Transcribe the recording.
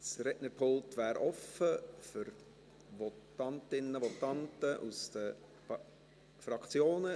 Das Rednerpult wäre frei für Votantinnen und Votanten aus den Fraktionen.